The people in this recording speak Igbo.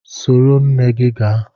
Soro nne gị gaa!